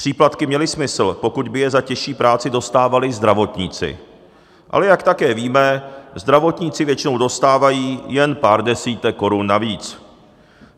Příplatky měly smysl, pokud by je za těžší práci dostávali zdravotníci, ale jak také víme, zdravotníci většinou dostávají jen pár desítek korun navíc.